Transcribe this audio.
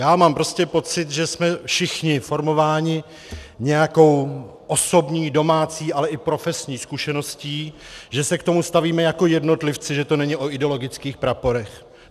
Já mám prostě pocit, že jsme všichni formováni nějakou osobní, domácí, ale i profesní zkušeností, že se k tomu stavíme jako jednotlivci, že to není o ideologických praporech.